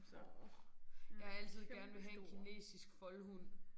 Orh jeg har altid gerne villet have en kinesisk foldehund